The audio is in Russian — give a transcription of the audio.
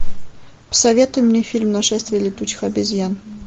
посоветуй мне фильм нашествие летучих обезьян